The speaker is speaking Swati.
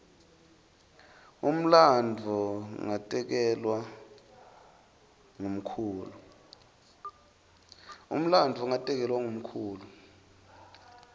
umlandvo ngatekelwa ngumkhulu